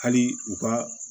Hali u ka